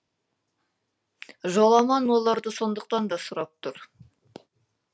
жоламан оларды сондықтан да сұрап тұр